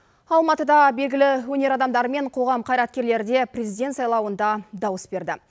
алматыда белгілі өнер адамдары мен қоғам қайраткерлері де президент сайлауында дауыс берді